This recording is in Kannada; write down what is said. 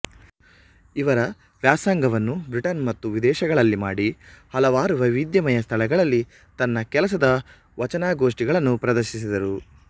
ಇವರ ವ್ಯಾಸಂಗವನ್ನು ಬ್ರಿಟನ್ ಮತ್ತು ವಿದೇಶಗಳಲ್ಲಿ ಮಾಡಿ ಹಲವಾರು ವೈವಿಧ್ಯಮಯ ಸ್ಥಳಗಳಲ್ಲಿ ತನ್ನ ಕೆಲಸದ ವಚನಗೋಷ್ಠಿಗಳನ್ನು ಪ್ರದರ್ಶಿಸಿದರು